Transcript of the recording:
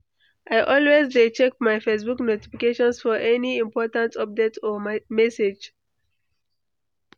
I always dey check my Facebook notifications for any important updates or messages.